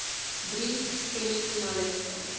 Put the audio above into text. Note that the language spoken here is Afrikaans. drie semi finaliste